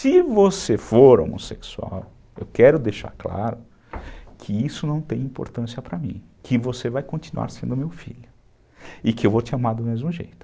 Se você for homossexual, eu quero deixar claro que isso não tem importância para mim, que você vai continuar sendo meu filho e que eu vou te amar do mesmo jeito.